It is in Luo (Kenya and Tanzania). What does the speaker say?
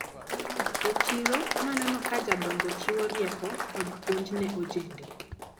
E chiro naneno ka jodongo chiwo rieko kod puonj ne ojende.